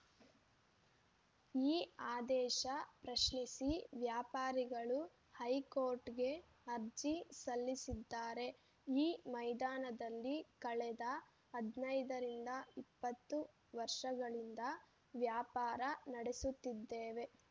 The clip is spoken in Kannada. ಈ ಆದೇಶ ಪ್ರಶ್ನಿಸಿ ವ್ಯಾಪಾರಿಗಳು ಹೈಕೋರ್ಟ್‌ಗೆ ಅರ್ಜಿ ಸಲ್ಲಿಸಿದ್ದಾರೆ ಈ ಮೈದಾನದಲ್ಲಿ ಕಳೆದ ಹದಿನೈದು ಇಪ್ಪತ್ತು ವರ್ಷಗಳಿಂದ ವ್ಯಾಪಾರ ನಡೆಸುತ್ತಿದ್ದೇವೆ